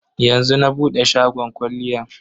Yanzu na bude shagon kwalliyan.